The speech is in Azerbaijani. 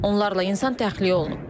Onlarla insan təxliyə olunub.